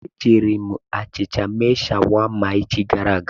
E jiiri m achịcha mee shawama echi gara aga.